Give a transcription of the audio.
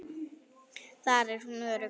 Þar er hún örugg.